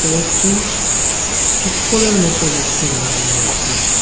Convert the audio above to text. একটি চপ্পলের মতো বক্সে রাখা দেখা যাচ্চে।